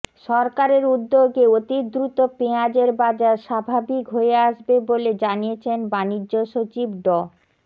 সরকারের উদ্যোগে অতিদ্রুত পেঁয়াজের বাজার স্বাভাবিক হয়ে আসবে বলে জানিয়েছেন বাণিজ্য সচিব ড